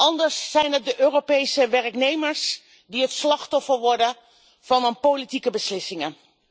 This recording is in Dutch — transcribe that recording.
Anders zijn het de Europese werknemers die het slachtoffer worden van hun politieke beslissingen.